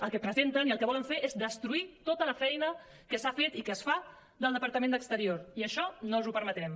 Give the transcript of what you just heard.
el que presenten i el que volen fer és destruir tota la feina que s’ha fet i que es fa del departament d’exterior i això no us ho permetrem